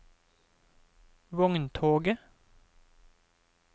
vogntoget